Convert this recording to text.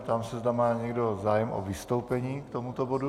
Ptám se, zda má někdo zájem o vystoupení k tomuto bodu.